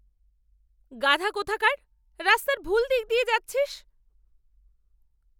গাধা কোথাকার! রাস্তার ভুল দিক দিয়ে যাচ্ছিস।